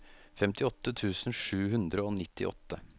femtiåtte tusen sju hundre og nittiåtte